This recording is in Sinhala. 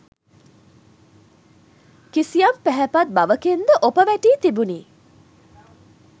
කිසියම් පැහැපත් බවකින් ද ඔප වැටී තිබිණි.